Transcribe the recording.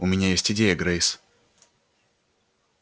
у меня есть идея грейс